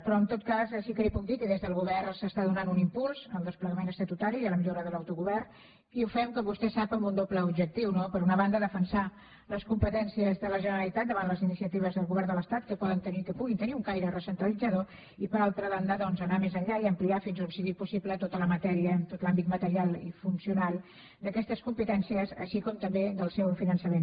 però en tot cas sí que li puc dir que des del govern s’està donant un impuls al desplegament estatutari i a la millora de l’autogovern i ho fem com vostè sap amb un doble objectiu no per una banda defensar les competències de la generalitat davant les iniciatives del govern de l’estat que puguin tenir un caire recentralitzador i per altra banda doncs anar més enllà i ampliar fins a on sigui possible tota la matèria en tot l’àmbit material i funcional d’aquestes competències així com també del seu finançament